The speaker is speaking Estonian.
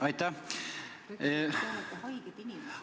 Aitäh!